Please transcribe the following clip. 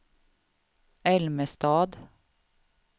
Älmestad